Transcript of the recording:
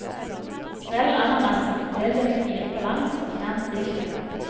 Skrell ananasen, del den i fire på langs og fjern stilken.